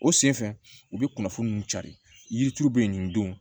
O sen fɛ u bɛ kunnafoni ninnu cari yirituru bɛ yen nin don